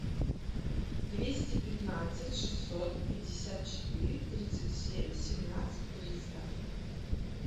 двести пятнадцать шестьсот пятьдесят четыре тридцать семь семнадцать триста